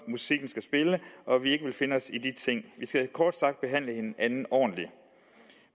musikken skal spille og at vi ikke vil finde os i de ting vi skal kort sagt behandle hinanden ordentligt